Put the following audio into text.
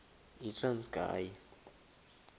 yitranskayi